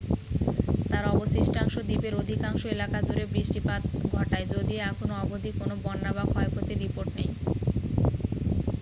তার অবশিষ্টাংশ দ্বীপের অধিকাংশ এলাকা জুড়ে বৃষ্টিপাত ঘটায় যদিও এখনো অবধি কোনো বন্যা বা ক্ষয়ক্ষতির রিপোর্ট নেই